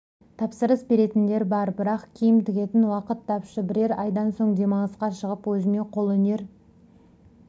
тапсырыс беретіндер бар бірақ киім тігетін уақыт тапшы бірер айдан соң демалысқа шығып өзіме қолөнер